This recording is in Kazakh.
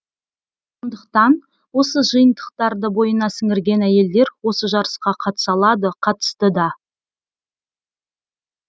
сондықтан осы жиынтықтарды бойына сіңірген әйелдер осы жарысқа қатыса алады қатысты да